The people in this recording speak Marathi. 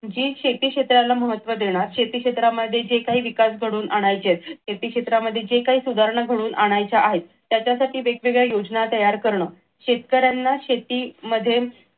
जी शेती क्षेत्राला महत्त्व देणार शेती क्षेत्रामध्ये विकास घडवून आणायचे आहेत शेती क्षेत्रामध्ये ज्या काही सुधारणा घडवून आणायच्या आहेत त्याच्यासाठी वेगवेगळ्या योजना तयार करण शेतकऱ्यांना शेतीमध्ये